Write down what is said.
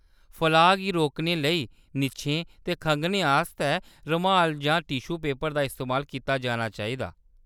फलाऽ गी रोकने लेई, निच्छने ते खंघने आस्तै रमाल जां टिश्यु पेपर दा इस्तेमाल कीता जाना चाहिदा।